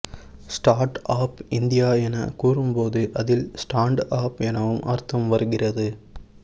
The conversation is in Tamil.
ஸ்டார்ட் ஆப் இந்தியா என கூறும்போது அதில் ஸ்டான்ட் அப் எனவும் அர்த்தம் வருகிறது